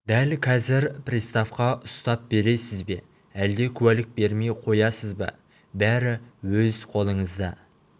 дәл қазір приставқа ұстап бересіз бе әлде куәлік бермей қоясыз ба бәрі өз қолыңызда